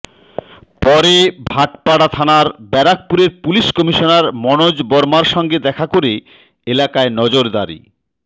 পরে ভাটপাড়া থানায় ব্যারাকপুরের পুলিশ কমিশনার মনোজ বর্মার সঙ্গে দেখা করে এলাকায় নজরদারি